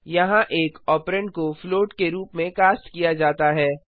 यहाँ एक ऑपरेंड को floatके रूप में कास्ट किया जाता है